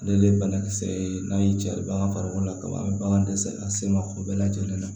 Ale de ye banakisɛ ye n'a y'i carin an ka farikolo la kaba dɛsɛ an sen ma o bɛɛ lajɛlen na